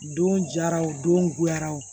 Don jara o don goyara o